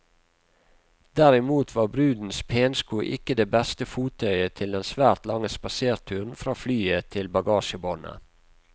Derimot var brudens pensko ikke det beste fottøyet til den svært lange spaserturen fra flyet til bagasjebåndet.